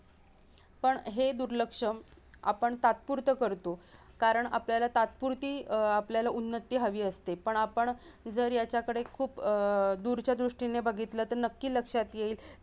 पण हे दुर्लक्ष आपण तात्पुरता करतो कारण आपल्याला तात्पुरती अह आपल्याला उन्नती हवी असते पण आपण जर याचाकडे खूप अह दूरच्या दृष्टीने बघितलं तर नक्की लक्षात येईल